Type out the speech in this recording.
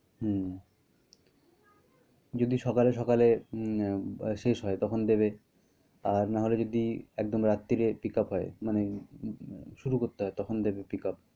হম যদি সকালে সকালে এম~নে শেষ হয় তখন দিবে আর না হলে যদি একদম রাত্তিরে pickup হয় মানে শুরু করতে হয় তখন দিবে pick up